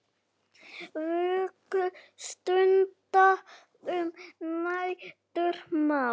Vöku stunda um nætur má.